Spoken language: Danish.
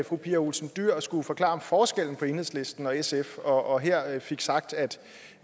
fru pia olsen dyhr skulle forklare forskellen på enhedslisten og sf og her fik sagt at